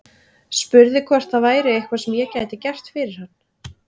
Spurði hvort það væri eitthvað sem ég gæti gert fyrir hann.